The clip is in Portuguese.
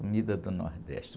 Comida do Nordeste.